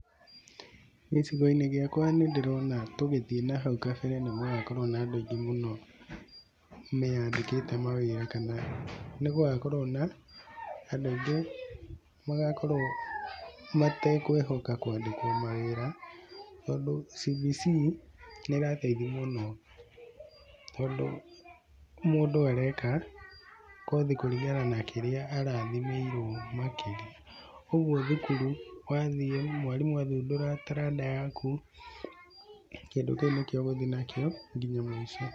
Nĩ gĩcigo-inĩ gĩakwa nĩ ndĩrona tũgĩthiĩ na hau kabere nĩ gũgakorwo na andũ aingĩ mũno meyandĩkĩte mawĩra na nĩ gũgakorwo na andũ aingĩ matekwĩhũka kwandĩkwo mawĩra, tondũ CBC nĩ ĩrareithia mũno, tondũ mũndũ areka kothi kũringana na kĩrĩa arathimĩirwo makĩria, ũguo thukuru wathiĩ mwarimũ athundũra taranda yaku kĩndũ kĩu nĩkio ũgũthiĩ nakĩo nginya nũico.